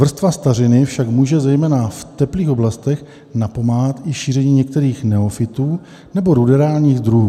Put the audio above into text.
Vrstva stařiny však může zejména v teplých oblastech napomáhat i šíření některých neofytů nebo ruderálních druhů.